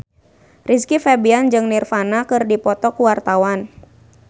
Rizky Febian jeung Nirvana keur dipoto ku wartawan